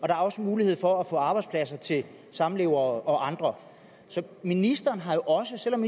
er også mulighed for at få arbejdspladser til samlevere og andre så ministeren har jo også selv om